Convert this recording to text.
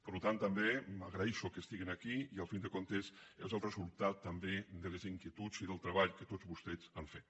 per tant també agraeixo que estiguin aquí i al cap i a la fi és el resultat també de les inquietuds i del treball que tots vostès han fet